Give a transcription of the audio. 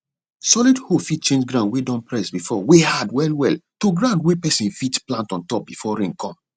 solid hoe fit change ground wey don press before wey hard well well to ground wey person fit plant on top before rain come